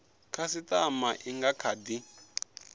khasitama i nga kha di